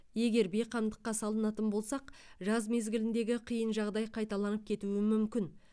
егер бейқамдыққа салынатын болсақ жаз мезгіліндегі қиын жағдай қайталанып кетуі мүмкін